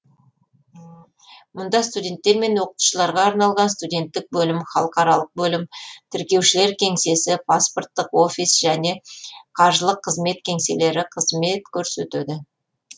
мұнда студенттер мен оқытушыларға арналған студенттік бөлім халықаралық бөлім тіркеушілер кеңсесі паспорттық офис және қаржылық қызмет кеңселері қызмет көрсетеді